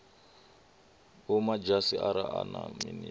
vhomadzhisi ara a na minisiṱa